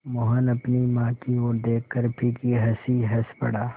मोहन अपनी माँ की ओर देखकर फीकी हँसी हँस पड़ा